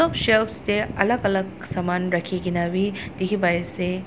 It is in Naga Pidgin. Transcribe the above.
shelves tey alak alak saman rakhi kena wi dikhi pai ase.